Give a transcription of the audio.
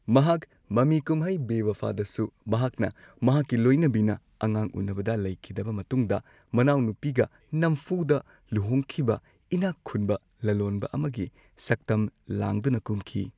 ꯃꯍꯥꯛ ꯃꯃꯤ ꯀꯨꯝꯍꯩ ꯕꯦꯋꯐꯥꯗꯁꯨ, ꯃꯍꯥꯛꯅ ꯃꯍꯥꯛꯀꯤ ꯂꯣꯏꯅꯕꯤꯅ ꯑꯉꯥꯡ ꯎꯅꯕꯗ ꯂꯩꯈꯤꯗꯕ ꯃꯇꯨꯡꯗ ꯃꯅꯥꯎꯅꯨꯄꯤꯒ ꯅꯝꯐꯨꯗ ꯂꯨꯍꯣꯡꯈꯤꯕ ꯏꯅꯥꯛ ꯈꯨꯟꯕ ꯂꯂꯣꯟꯕ ꯑꯃꯒꯤ ꯁꯛꯇꯝ ꯂꯥꯡꯗꯨꯅ ꯀꯨꯝꯈꯤ꯫